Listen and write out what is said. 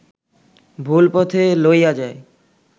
ভুল পথে লইয়া যায়